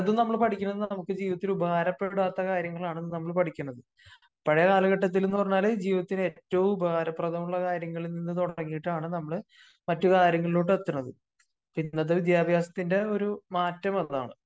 പലതും നമ്മള് പടിക്കുന്നത് നമുക്ക് ജീവിതത്തില് ഉപകാര പ്പെടാത്ത കാര്യങ്ങളാണ് നമ്മള് പടിക്കുന്നത്. പഴയ കാലഘട്ടത്തിൽ എന്ന് പറഞ്ഞാല് ജീവിതത്തിൽ ഏറ്റവും ഉപകാരപ്രഥമുള്ള കാര്യങ്ങളിൽ നിന്നു തുടങ്ങിയിട്ടാണ് നമ്മള് മറ്റ് കാര്യങ്ങളിലോട്ട് എത്തുന്നത്. ഇന്നത്തെ വിദ്യാഭ്യാസത്തിന്റെ ഒരു മാറ്റം അതാണ്.